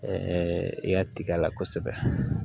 i ka tiga la kosɛbɛ